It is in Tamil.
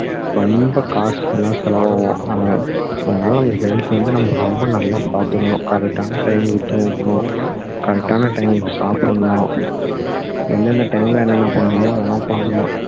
ரொம்ப காசுலாம் செலவு ஆகும் அதனால அதனால உங்க health வந்து நம்ம ரொம்ப நல்லா பார்த்துக்கணும் correct ஆன time க்கு தூங்கணும் correct ஆன time க்கு சாப்பிடணும் என்னென்ன time ல என்னென்ன பண்ணணுமோ அதெல்லாம் பண்ணணும்